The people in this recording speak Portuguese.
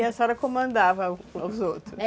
E a senhora comandava os outros?